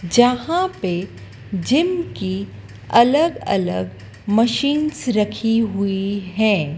जहाँ पे जिम की अलग अलग मशीन्स रखीं हुई हैं।